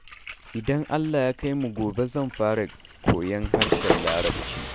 Idan Allah ya kai mu gobe zan fara koyon harshen larabci